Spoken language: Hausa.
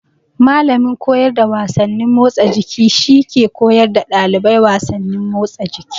Mallamin koyar da wasannin motsa jiki shi ke koyar da ɗalibai wasannin motsa jiki.